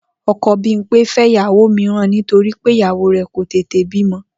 O̩ko̩ Bímpé fé̩ ìyàwó mìíràn nítorí pé ìyàwó rè̩ kò tètè bímo̩